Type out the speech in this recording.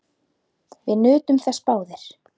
Við nutum þess báðir.